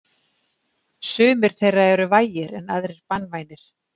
Sumir þeirra eru vægir en aðrir banvænir.